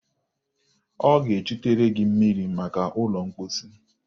Ọ ga-echutere gị mmiri maka ụlọ mposi.